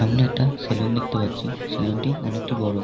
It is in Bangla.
সামনে একটা স্যালুন দেখতে পাচ্ছি স্যালুন -টি অনেকটি বড়।